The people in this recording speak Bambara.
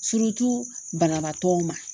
banabaatɔw ma.